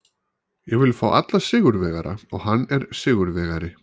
Ég vil fá alla sigurvegara og hann er sigurvegari.